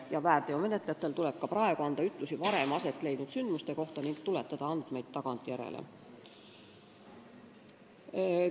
Ja väärteomenetlejatel tuleb ka praegu anda ütlusi varem aset leidnud sündmuste kohta ning andmeid tagantjärele fikseerida.